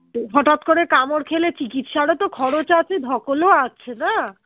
হটাৎ করে কামড় খেলে চিকিৎসার ও তো খরচ আছে ধকল ও আছে না?